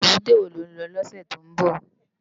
Ébùté wó ló n lò lòsè tó n bò?